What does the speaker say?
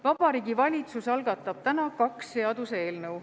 Vabariigi Valitsus algatab täna kaks seaduseelnõu.